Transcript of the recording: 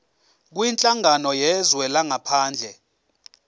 kwinhlangano yezwe langaphandle